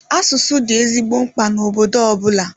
Asụsụ dị ezigbo mkpa na obodo ọbụla.